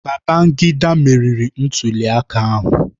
Babangida meriri ntuliaka ahụ